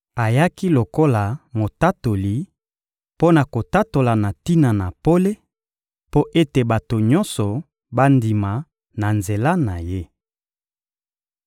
Ayaki lokola motatoli, mpo na kotatola na tina na pole, mpo ete bato nyonso bandima na nzela na ye.